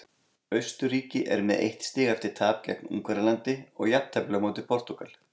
Austurríki er með eitt stig eftir tap gegn Ungverjalandi og jafntefli á móti Portúgal.